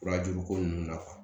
Fura juruko ninnu na kuwa